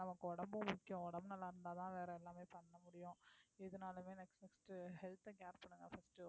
நமக்கு உடம்பு முக்கியம் உடம்பு நல்லா இருந்தாதான் வேற எல்லாமே பண்ண முடியும் எதுனாலுமே next உ health அ care பண்ணுங்க first உ